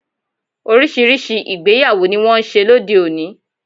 Oríṣiríṣi ìgbéyàwó ni wón n ṣe lóde oni